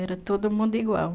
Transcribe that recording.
Era todo mundo igual.